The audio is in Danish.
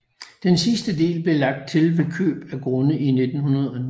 Den sidste del blev lagt til ved køb af grunde i 1909